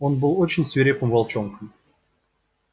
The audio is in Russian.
он был очень свирепым волчонком